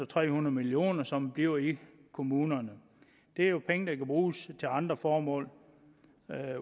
tre hundrede million kr som bliver i kommunerne det er jo penge der kan bruges til andre formål